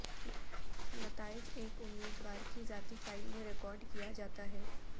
نتائج ایک امیدوار کی ذاتی فائل میں ریکارڈ کیا جاتا ہے